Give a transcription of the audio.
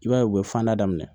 I b'a ye u bɛ fanda daminɛ